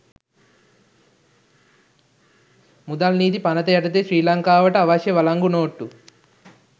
මුදල් නීති පනත යටතේ ශ්‍රී ලංකාවට අවශ්‍ය වලංගු නෝට්ටු